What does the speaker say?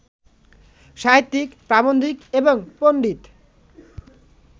সাহিত্যিক, প্রাবন্ধিক এবং পণ্ডিত